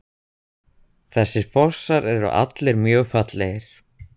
Þessir fossar eru allir mjög fallegir.